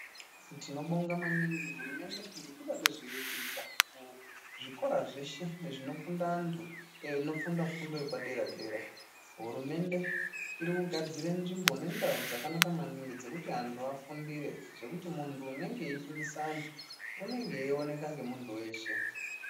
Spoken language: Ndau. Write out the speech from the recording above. Tinobonga maningi hurumende nekuda kwezveiri kuita muzvikora zveshe zvinofunda antu anofunda fundo yepadera dera hurumende iri kugadzire nzvimbo nendau dzakanaka maningi dzekuti antu afundire zvekuti muntu unenge eifundise antu unenge eioneka ngemuntu weshe .